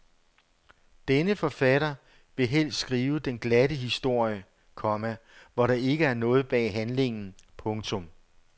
Denne forfatter vil helst skrive den glatte historie, komma hvor der ikke er noget bag handlingen. punktum